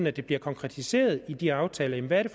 at det bliver konkretiseret i aftalerne hvad det